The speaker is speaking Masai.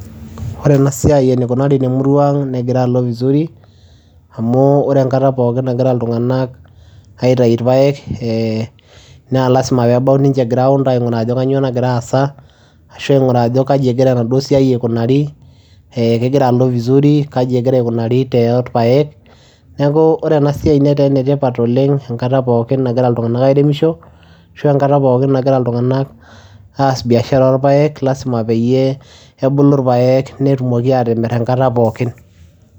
Ore enasiai enikunari temurua ang',negira alo vizuri. Amu ore enkata pookin nagira iltung'anak aitayu irpaek, na lasima pebau ninche ground aing'uraa ajo kanyioo nagira aasa, ashu aing'uraa ajo kaji egira enaduo siai aikunari, kegira alo vizuri, kaji egira aikunari torpaek. Neeku ore enasiai netaa enetipat oleng' enkata pookin nagira iltung'anak airemisho, ashu enkata pookin nagira iltung'anak aas biashara orpaek, lasima peyie ebulu irpaek netumoki atimir enkata pookin.